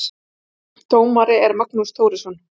Dómari er Magnús Þórisson.